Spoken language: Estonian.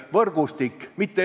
Selline täpsustav küsimus.